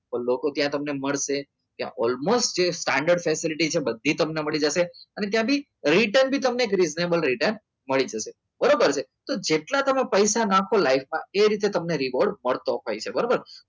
તો લોકો ત્યાં તમને મળશે ત્યાં almost જે standard facility છે એ બધી તમને મળી જશે અને ત્યાંથી return બી તમને reasonable રેટ ને મળી જશે અને બરોબર છે અને જેટલા તમે પૈસા નાખો life માં એ રીતે તમને report મળતો હોય છે બરોબર